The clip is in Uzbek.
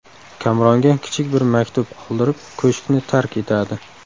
Kamronga kichik bir maktub qoldirib, ko‘shkni tark etadi.